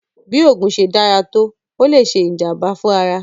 Bí oògùn ṣe dára tó, ó le ṣe ìjàm̀bá fún ara.